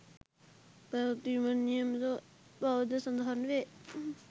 පැවැත්වීමට නියමිත බවද සඳහන් වේ